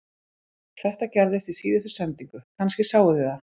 Þetta gerðist í síðustu sendingu, kannski sáuð þið það